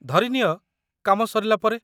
ଧରିନିଅ, କାମ ସରିଲା ପରେ?